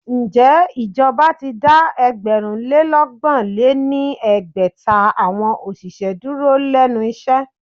Ǹjẹ́ ìjọba ti dá ẹgbẹ̀rún lé ọgbọ̀n lé ní ẹgbẹ́ta awọn òṣìṣẹ́ dúró lénu iṣẹ́?